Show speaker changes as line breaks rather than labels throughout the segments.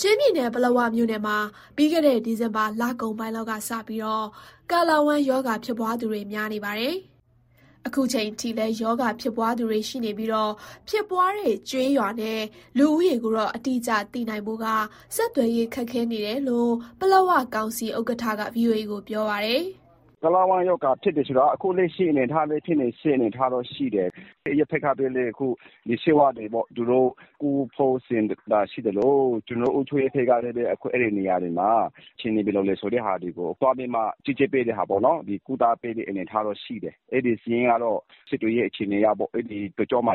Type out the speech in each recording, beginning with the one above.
ချင်းပြည်နယ်၊ ပလက်ဝမြို့နယ်မှာ ပြီးခဲ့တဲ့ ဒီဇင်ဘာလကုန်ပိုင်းလောက်ကစပြီး ကာလဝမ်းရောဂါ ဖြစ်သူ များနေပါတယ်။ အခုချိန်ထိလည်း ရောဂါဖြစ်ပွားသူတွေ ရှိနေပြီး ဖြစ်ပွားတဲ့ကျေးရွာနဲ့ လူဦးရေကိုတော့ အတိအကျသိနိုင်ဖို့က ဆက်သွယ်ရေးခက်ခဲနေတယ်လို့ ပလက်ဝကောင်စီ ဥက္ကဋ္ဌက ဗွီအိုအေကို ပြောပါတယ်။ "
ကာလဝမ်းရောဂါ ဖြစ်တယ်ဆိုတာက အခုလက်ရှိအနေအထားလည်း ဖြစ်နေတာရှိတယ်။ အရပ်ဘက်ကလည်း ဆေးဝါးကုသပေးဖို့ စေတနာရှိသလို ကျနော်တို့ အုပ်ချုပ်ရေးဘက်ကလည်းပဲ အခုအဲဒီနေရာတွေမှာ အခြေအနေဘယ်လိုလဲ ဆိုတာတွေကို သွားကြီးကြပ်ပြီး ကုသပေးနေတဲ့ အနေအထားတော့ရှိတယ်။ အဲဒီစာရင်းကတော့ ဆက်သွယ်ရေး အခြေအနေအရပေါ့။ အဲဒီဘက် တကြောမှာ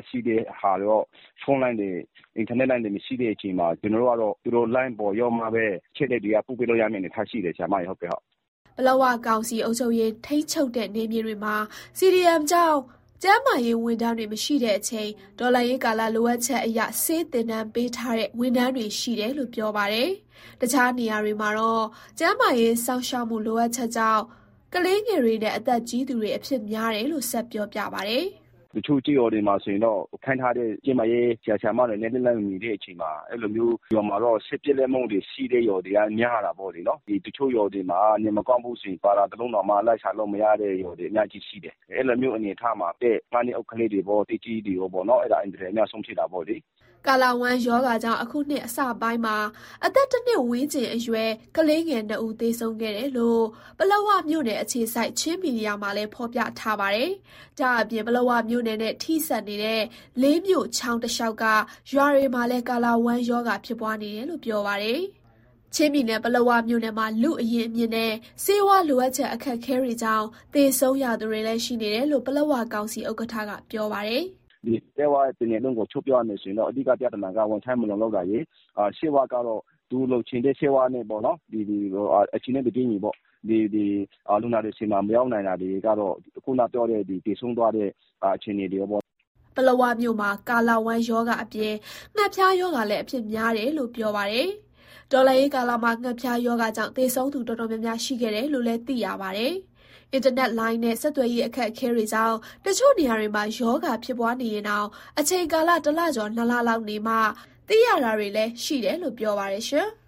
ဖုန်းလိုင်းတွေ၊ အင်တာနက်လိုင်းတွေ မရှိတဲ့အချိန်မှာ သူတို့လိုင်းပေါ်ရောက်မှပဲ အချက်အလက်တွေက ပို့ပေးလို့ရမယ့် အနေအထားရှိတယ်။"
ပလက်ဝကောင်စီ အုပ်ချုပ်ရေး ထိန်းချုပ်တဲ့နယ်မြေတွေမှာ CDM ကြောင့် ကျန်းမာရေးဝန်ထမ်းတွေ မရှိတဲ့အချိန် တော်လှန်ရေးကာလ လိုအပ်ချက်အရ ဆေးသင်တန်းပေးထားတဲ့ ဝန်ထမ်းတွေရှိတယ်လို့ ပြောပါတယ်။ တခြားနေရာတွေမှာတော့ ကျန်းမာရေးစောင့်ရှောက်မှု လိုအပ်ချက်ကြောင့် ကလေးငယ်တွေနဲ့ အသက်ကြီးသူတွေ အဖြစ်များတယ်လို့ ဆက်ပြောပါတယ်။ "
တချို့ကျေးရွာတွေမှာဆိုရင်တော့ ခန့်ထားတဲ့ ကျန်းမာရေးဆရာ၊ ဆရာမတွေနဲ့ လက်လှမ်းမမီတဲ့ အချိန်မှာ ဆေးပြတ်လပ်မှုတွေရှိတဲ့ ရွာတွေက များတာပေါ့။ တချို့ရွာတွေမှာ နေမကောင်းဘူးဆိုရင် ပါရာ တလုံးတောင် လိုက်ရှာလို့မရတဲ့ရွာတွေ အများကြီးရှိတယ်။ အဲလိုမျိုး အနေအထားမှာ အသက် ၅ နှစ်အောက် ကလေးတွေရော၊ အသက်ကြီးပိုင်းတွေရော အင်မတန် အများဆုံးဖြစ်တာပေါ့။"
ကာလဝမ်းရောဂါကြောင့် အခုနှစ်အစပိုင်းမှာ အသက်တနှစ်ဝန်းကျင်အရွယ် ကလေးငယ်နှစ်ဦး သေဆုံး ခဲ့တယ်လို့ ပလက်ဝမြို့နယ်အခြေစိုက် ချင်းမီဒီယာမှာလည်း ဖော်ပြထားပါတယ်။ ဒါ့အပြင် ပလက်ဝ မြို့နယ်နဲ့ ထိစပ်နေတဲ့ လေးမြို့ချောင်းတလျှောက်က ရွာတွေမှာလည်း ကာလဝမ်းရောဂါ ဖြစ်ပွားနေတယ်လို့ ပြောပါတယ်။ ချင်းပြည်နယ်၊ ပလက်ဝမြို့နယ်မှာ လူ့အရင်းအမြစ်နဲ့ ဆေးဝါးလိုအပ်ချက် အခက်အခဲတွေကြောင့် သေဆုံးရသူတွေလည်း ရှိနေတယ်လို့ ပလက်ဝကောင်စီ ဥက္ကဋ္ဌက ပြောပါတယ်။ "
ပလက်ဝတနယ်လုံးကို ခြုံပြောရမယ်ဆိုရင်တော့ အဓိကပြဿနာက ဝန်ထမ်းမလုံလောက်တာတွေ၊ လိုအပ်တဲ့ဆေးဝါးတွေ အချိန်နဲ့တပြေးညီ လူနာတွေဆီမှာ မရောက်နိုင်တာတွေကတော့ သေဆုံးသွားတဲ့ အခြေအနေတွေ ရှိနေတာပါ။
" ပလက်ဝမြို့နယ်မှာ ကာလဝမ်းရောဂါအပြင် ငှက်ဖျားရောဂါလည်း အဖြစ်များတယ်လို့ ပြောပါတယ်။ တော်လှန်ရေးကာလမှာ ငှက်ဖျားရောဂါကြောင့် သေဆုံးသူ တော်တော်များများ ရှိခဲ့တယ်လို့ သိရပါ တယ်။ အင်တာနက်လိုင်းနဲ့ ဆက်သွယ်ရေး အခက်အခဲတွေကြောင့် တချို့နေရာတွေမှာ ရောဂါဖြစ်နေ ရင်တောင် အချိန်ကာလတလကျော် - နှစ်လလောက်နေမှ သိရတာတွေလည်းရှိတယ်လို့ ပြောပါတယ်။